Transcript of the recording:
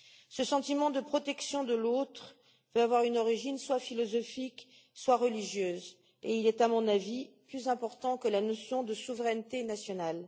Ce sentiment de protection de l'autre peut avoir une origine soit philosophique, soit religieuse, et il est à mon avis plus important que la notion de souveraineté nationale.